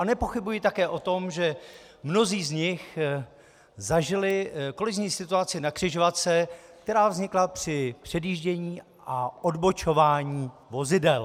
A nepochybuji také o tom, že mnozí z nich zažili kolizní situaci na křižovatce, která vznikla při předjíždění a odbočování vozidel.